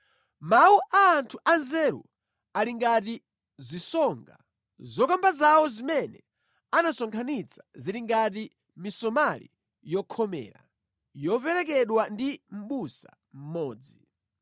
Mawu a anthu anzeru ali ngati zisonga, zokamba zawo zimene anasonkhanitsa zili ngati misomali yokhomera, yoperekedwa ndi mʼbusa mmodzi.